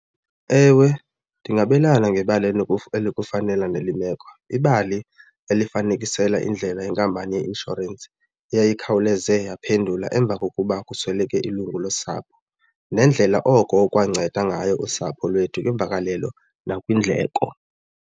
Ewe, ndingabelana ngebali elinokufanela nale meko ibali elifanekisela indlela yenkampani yeinshorensi eyayikhawuleze yaphendula emva kokuba kusweleke ilungu losapho nendlela oko okwanceda ngayo usapho lwethu kwimvakalelo nakwindleko.